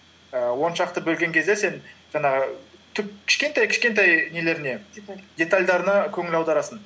ііі он шақты бөлген кезде сен жаңағы түп кішкентай кішкентай нелеріне деталь детальдарына көңіл аударасың